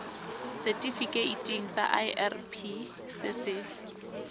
setifikeiting sa irp se se